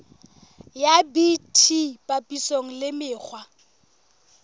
ya bt papisong le mekgwa